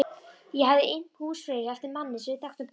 Ég hafði innt húsfreyju eftir manni sem við þekktum bæði.